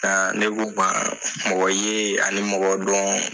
Nka ne ko ba mɔgɔ ye, ani mɔgɔ dɔn.